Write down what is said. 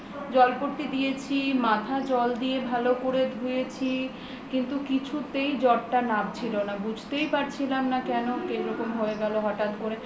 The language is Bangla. জলপট্টি দিয়েছি মাথায় জল দিয়ে ভালো করে ধুয়েছি কিন্তু কিছুতেই জ্বর টা নামছিল না বুঝতেই পারছিলাম না কেনকিরকম ভাবে হয়ে গেল হঠাৎ করে